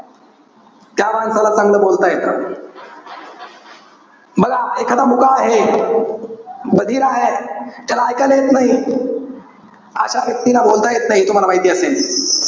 त्या माणसाला चांगलं बोलता येत. बघा, एखादा मुका आहे. बधिर आहे. त्याला इकायला येत नाही. अशा व्यक्तीला बोलता येत नाही. हे तुम्हाला माहिती असेल.